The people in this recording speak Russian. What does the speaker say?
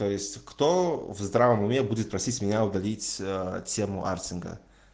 то есть кто в здравом уме будет просить меня удалить тему артинга